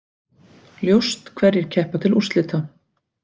Ljóst hverjir keppa til úrslita